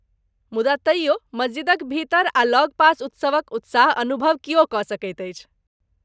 मुदा तैयो मस्जिदक भीतर आ लगपास उत्सवक उत्साह अनुभव किओ कऽ सकैत अछि।